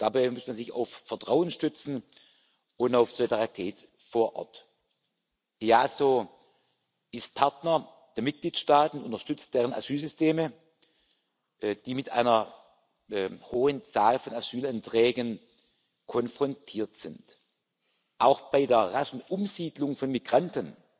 Und dabei muss man sich auf Vertrauen stützen und auf Solidarität vor Ort. Das EASO ist Partner der Mitgliedstaaten, unterstützt deren Asylsysteme, die mit einer hohen Zahl von Asylanträgen konfrontiert sind. Auch bei der raschen Umsiedlung von Migranten,